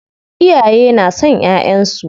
Iyaye na son ƴaƴansu.